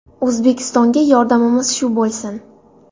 O‘zbekistonga yordamimiz shu bo‘lsin”.